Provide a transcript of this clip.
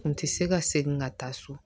Kun tɛ se ka segin ka taa so